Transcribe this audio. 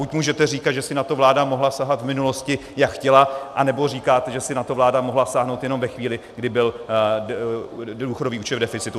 Buď můžete říkat, že si na to vláda mohla sahat v minulosti, jak chtěla, anebo říkat, že si na to vláda mohla sáhnout jenom ve chvíli, kdy byl důchodový účet v deficitu.